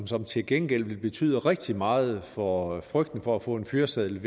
som til gengæld vil betyde rigtig meget i forhold til frygten for at få en fyreseddel